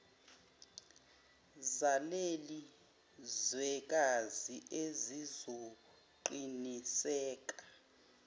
zaleli zwekazi ezizoqiniseka